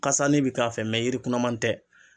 Kasani bi k'a fɛ mɛ yiri kunnaman tɛ